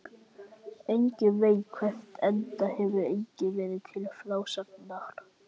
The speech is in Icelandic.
Enginn veit hvert, enda hefur enginn verið til frásagnar.